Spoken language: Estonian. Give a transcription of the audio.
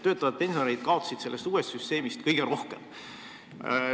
Töötavad pensionärid kaotasid sellest uuest süsteemist kõige rohkem.